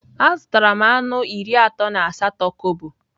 Azụtara m anụ iri atọ na asatọ kobo.